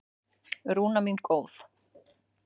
Rúna mín góð.